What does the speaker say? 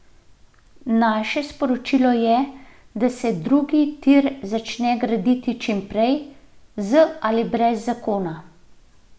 Naše sporočilo je, da naj se drugi tir začne graditi čim prej, z ali brez zakona.